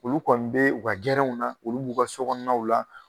Olu kɔni bee u ka gɛrɛnw na, olu b'u ka sɔ kɔɔnaw la